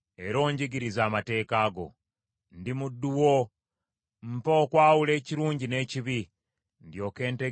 Ndi muddu wo, mpa okwawula ekirungi n’ekibi; ndyoke ntegeere ebiragiro byo.